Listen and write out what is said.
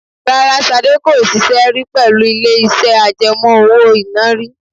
Rárá, Ṣadé kò ṣiṣẹ́ rí pẹ̀lú ilé iṣẹ́ àjẹmó owó iná rí.